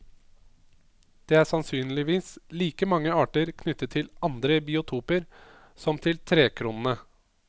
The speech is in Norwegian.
Det er sannsynligvis like mange arter knyttet til andre biotoper som til trekronene.